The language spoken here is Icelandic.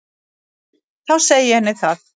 Þá segi ég henni það.